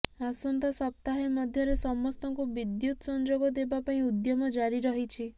ଆସନ୍ତା ସପ୍ତାହେ ମଧ୍ୟରେ ସମସ୍ତଙ୍କୁ ବିଦ୍ୟୁତ ସଂଯୋଗ ଦେବା ପାଇଁ ଉଦ୍ୟମ ଜାରି ରହିଛି